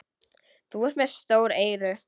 Þú ert með stór eyru.